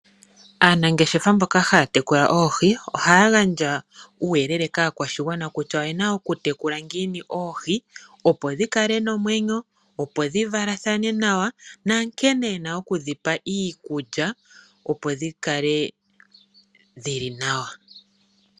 Aanangeshefa mboka haya teku oohi ohaya gandja uuyelele kaakwashigwana kutya oyena oku tekula ngiini oohi opo dhi kale nomwenyo opo dhi valathane nawa na nkene e na oku dhipa iikulya opo dhi kale dhili nawa.